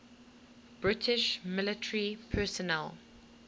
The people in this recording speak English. british military personnel